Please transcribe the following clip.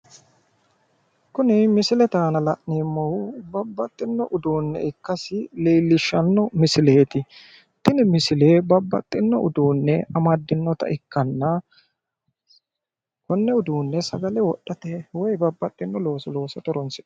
kuni misilete aana la'neemmohu babbaxxino uduunne ikkasi leellishshanno misileeti tini misile babbaxxino uduenne amaddinnota ikkanna konne uduune sagale wodhate woy babbaxxino looso loosate horonsi'neemmo